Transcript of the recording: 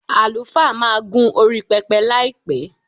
Àlùfáà máa gún orí pẹpẹ láìpẹ́.